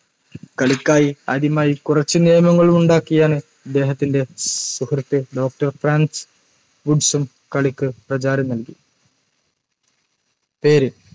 കളിക്കായി ആദ്യമായ് കുറച്ച് നിയമങ്ങളുണ്ടാക്കിയാണ് ഇദ്ദേഹത്തിൻറെ സുഹൃത്ത് doctor ഫ്രാൻസ് വുഡ്‌സും കളിക്ക് പ്രചാരം നൽകി പേര്